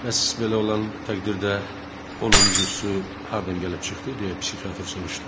Bəs belə olan təqdirdə onuncusu hardan gəlib çıxdı, deyə psixiatr soruşdu.